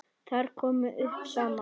Þar komu saman